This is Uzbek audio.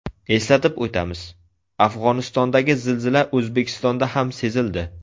Eslatib o‘tamiz, Afg‘onistondagi zilzila O‘zbekistonda ham sezildi .